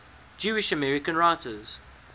jewish american writers